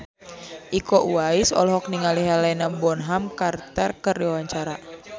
Iko Uwais olohok ningali Helena Bonham Carter keur diwawancara